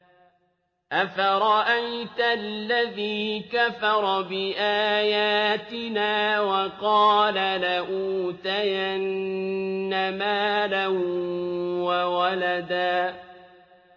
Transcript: أَفَرَأَيْتَ الَّذِي كَفَرَ بِآيَاتِنَا وَقَالَ لَأُوتَيَنَّ مَالًا وَوَلَدًا